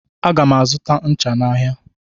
Aga m azụta ncha n'ahịa.